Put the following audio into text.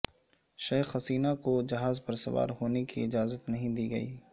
شیخ حسینہ کو جہاز پر سوار ہونے کی اجازت نہیں دی گئی